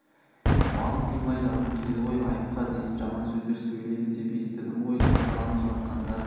малын қимай жанын қиды ғой айыпқа десіп жаман сөздер сөйледі деп есітдім ғой жас баланы жылатқандары